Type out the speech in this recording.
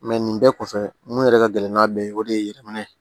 nin bɛɛ kɔfɛ mun yɛrɛ ka gɛlɛn n'a bɛɛ ye o de ye yɛlɛmana